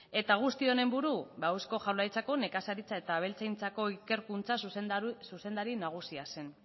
eta guzti honen buru ba eusko jaurlaritzako nekazaritza eta abeltzaintzako ikerkuntza zuzendari nagusia zen